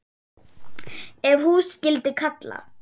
Ef hús skyldi kalla.